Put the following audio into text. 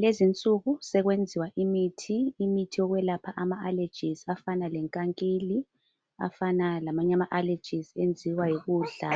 Lezi insuku sokwenziwa imithi, imithi yokwelapha ama alejizi afana lenkankili afana lamanye ama alejizi enziwa yikudla.